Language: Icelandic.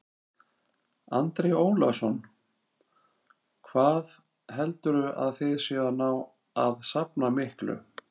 Andri Ólafsson: Hvað heldurðu að þið hafið náð að safna miklu?